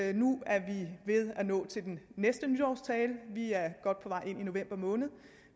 vi nu er ved at nå til den næste nytårstale vi er godt på vej ind i november måned